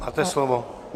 Máte slovo.